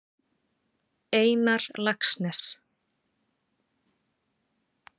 Einar Laxness.